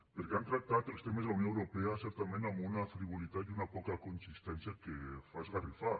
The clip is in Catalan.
perquè han tractat els temes de la unió europea certament amb una frivolitat i una poca consistència que fa esgarrifar